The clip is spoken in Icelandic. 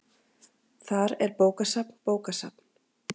Þar er bókasafn bókasafn.